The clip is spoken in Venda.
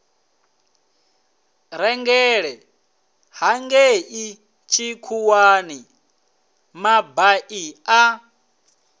rengele hangei tshikhuwani mabai a